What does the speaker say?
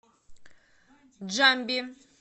джамби